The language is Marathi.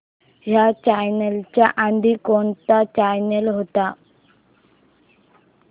ह्या चॅनल च्या आधी कोणता चॅनल होता